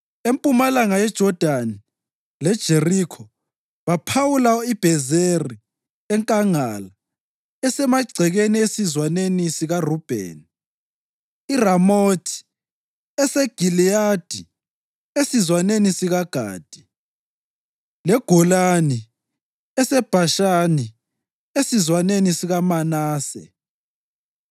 Empumalanga yeJodani leJerikho baphawula iBhezeri enkangala esemagcekeni esizwaneni sikaRubheni, iRamothi eseGiliyadi esizwaneni sikaGadi, leGolani eseBhashani esizwaneni sikaManase.